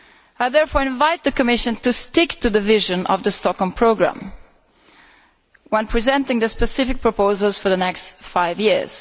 I therefore invite the Commission to stick to the vision of the Stockholm Programme when presenting the specific proposals for the next five years.